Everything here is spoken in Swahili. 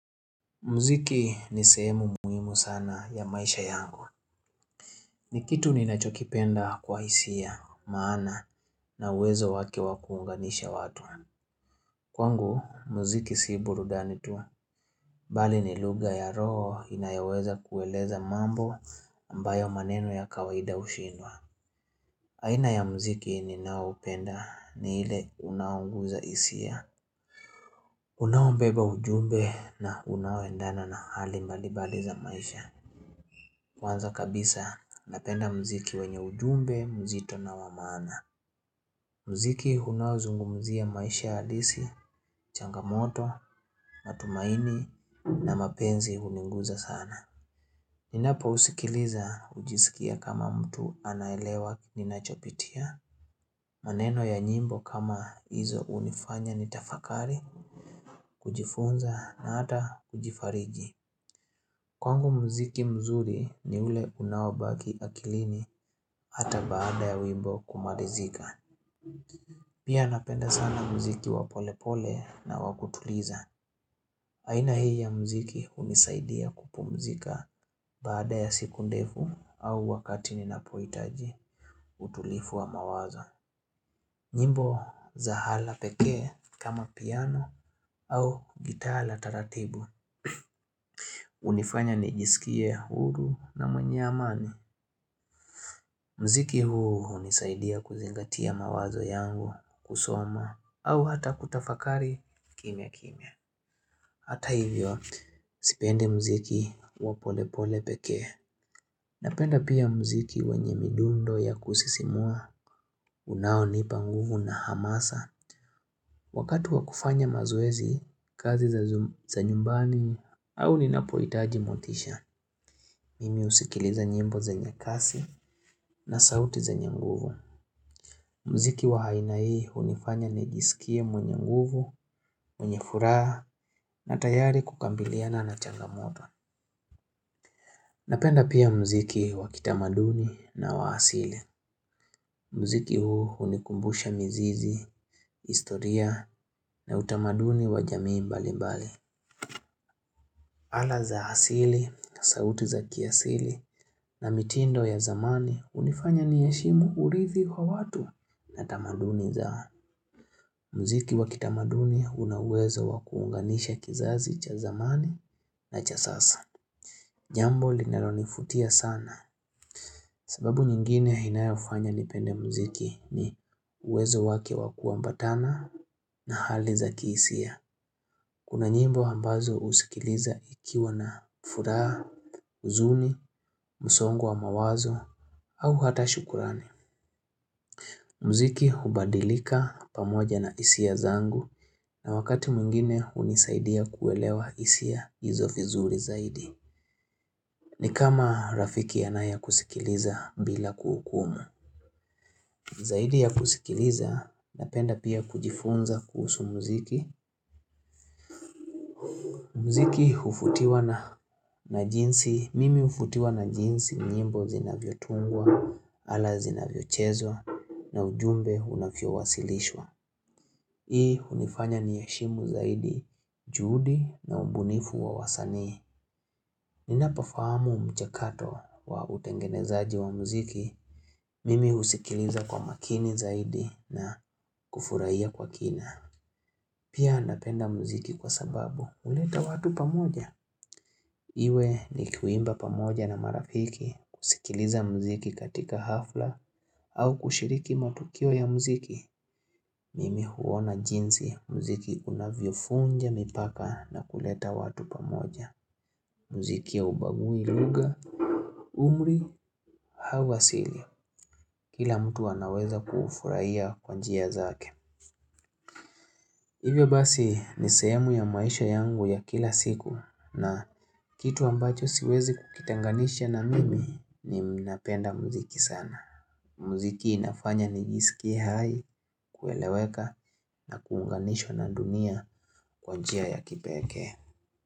Mziki ni sehemu muhimu sana ya maisha yangu ni kitu ninachokipenda kwa hisia maana na uwezo wake wa kuunganisha watu Kwangu mziki si burudani tu, bali ni lugha ya roho inayoweza kueleza mambo ambayo maneno ya kawaida ushindwa haina ya mziki ninao upenda ni ile unaunguza hisia Unaoeba ujumbe na unaoendana na hali mbalibali za maisha Kwanza kabisa napenda mziki wenye ujumbe, mzito na wa maana. Mziki unaozungumzia maisha alisi, changamoto, matumaini na mapenzi uniguza sana. Ninapousikiliza ujisikia kama mtu anaelewa ninaachopitia. Maneno ya nyimbo kama hizo unifanya nitafakari, kujifunza na hata kujifarigi. Kwangu mziki mzuri ni ule unaobaki akilini hata baada ya wimbo kumalizika. Pia napenda sana mziki wa polepole na wakutuliza. Aina hii ya mziki unisaidia kupumzika baada ya siku ndefu au wakati ni napohitaji utulifu wa mawazo. Nyimbo za hala pekee kama piano au gitaa la taratibu. Unifanya nijisikie huru na mwenye amani mziki huu unisaidia kuzingatia mawazo yangu kusoma au hata kutafakari kimya kimya. Hata hivyo sipende mziki wa polepole pekee Napenda pia mziki wenye midundo ya kusisimua unaonipa nguvu na hamasa Wakati wa kufanya mazoezi kazi za nyumbani au ninapohitaji motisha Mimi usikiliza nyimbo zenye kasi na sauti zaenye nguvu. Mziki wa aina hii unifanya nijisikie mwenye nguvu, mwenye furaha na tayari kukabiliana na changamoto. Napenda pia mziki wa kitamaduni na wa hasili. Mziki huu unikumbusha mizizi, historia na utamaduni wa jamii mbali mbali. Ala za asili, sauti za kiasili na mitindo ya zamani unifanya niheshimu urithi kwa watu na tamaduni za mziki wakitamaduni unawezo wa kuunganisha kizazi cha zamani na cha sasa. Jambo linalonifutia sana sababu nyingine inayofanya nipende mziki ni uwezo wake wa kuambatana na hali za kihisia. Kuna nyimbo ambazo usikiliza ikiwa na furaha, uzuni, msongo wa mawazo au hata shukurani. Mziki hubadilika pamoja na hisia zangu na wakati mwingine unisaidia kuelewa hisia hizo vizuri zaidi. Ni kama rafiki anayekusikiliza bila kuhukumu. Zaidi ya kusikiliza napenda pia kujifunza kuhusu mziki. Mziki ufutiwa na jinsi, mimi ufutiwa na jinsi nyimbo zinavyo tungwa ala zinavyo chezwa na ujumbe unavyo wasilishwa. Hii unifanya niheshimu zaidi, juhudi na ubunifu wa wasanii. Ninapofamu mchakato wa utengenezaji wa mziki, mimi usikiliza kwa makini zaidi na kufurahia kwa kina. Pia napenda muziki kwa sababu, uleta watu pamoja. Iwe ni kuimba pamoja na marafiki, kusikiliza muziki katika hafla, au kushiriki matukio ya muziki. Mimi huona jinsi muziki unavyovunja, mipaka na kuleta watu pamoja. Mziki haubagui lugha, umri, hawa asili. Kila mtu anaweza kufurahia kwa njia zake. Hivyo basi ni sehemu ya maisha yangu ya kila siku na kitu ambacho siwezi kukitenganisha na mimi ni napenda muziki sana. Muziki inafanya nijisikie hai kueleweka na kuunganishwa na dunia kwa njia ya kipekee.